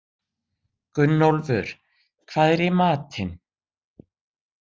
Gunnólfur, hvað er í matinn?